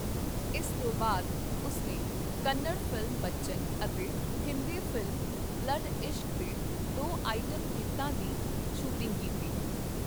ਇਸ ਤੋਂ ਬਾਅਦ ਉਸ ਨੇ ਕੰਨੜ ਫ਼ਿਲਮ 'ਬੱਚਨ' ਅਤੇ ਹਿੰਦੀ ਫ਼ਿਲਮ 'ਬਲੱਡ ਇਸ਼ਕ' ਦੇ ਦੋ ਆਈਟਮ ਗੀਤਾਂ ਦੀ ਸ਼ੂਟਿੰਗ ਕੀਤੀ।